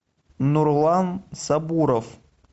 нурлан сабуров